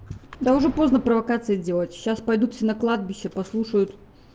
да уже поздно провокации делать сейчас пойдут все на кладбище послушают